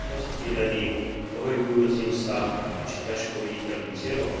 rozptýleným, pohybujúcim sa a či ťažko viditeľným cieľom.